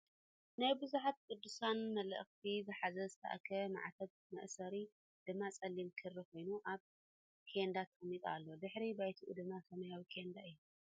ናይ ቡዙሓት ቁዱሳን መላኢክት ዝሓዘ ዝተኣከበ ማዕተብ መእሰሪኡ ድማ ፀሊም ክሪ ኮይኑ ኣብ ኬንዳ ተቀሚጡ ኣሎ ። ድሕረ ባይትኡ ድማ ስማያዊ ኬንዳ እዩ ።